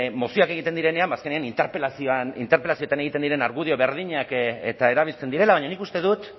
mozioak egiten direnean ba azkenean interpelazioetan egiten diren argudio berdinak eta erabiltzen direla baina nik uste dut